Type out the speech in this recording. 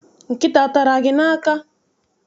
Nkịta atara gị n'aka?